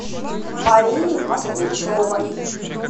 марии москвичевой